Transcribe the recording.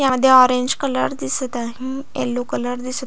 यामध्ये orange colour दिसत आहे येलो कलर दिसत आहे.